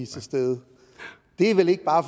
til stede det er vel ikke bare